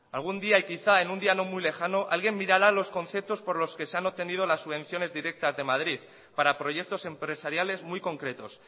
algún día y quizá en un día no muy lejano alguien mirará los conceptos por los que se han obtenido las subvenciones directas de madrid para proyectos empresariales muy concretos